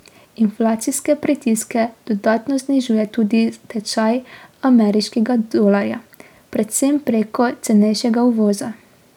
Inflacijske pritiske dodatno znižuje tudi tečaj ameriškega dolarja, predvsem prek cenejšega uvoza.